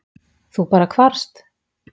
Þú bara hvarfst?